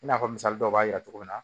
I n'a fɔ misali dɔw b'a yira cogo min na